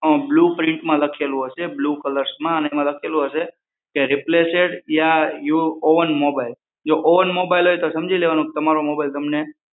અં blue પ્રિન્ટમાં લખેલું હશે બ્લુ કલર્સમાં અને એમાં લખેલું હશે કે replaced your own new mobile